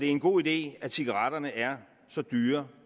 en god idé at cigaretterne er så dyre